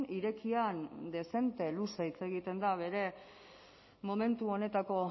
irekian dezente luze hitz egiten da bere momentu honetako